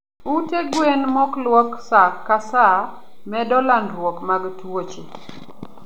Ute gwen mokluok saa ka saa medo landruok mag tuoche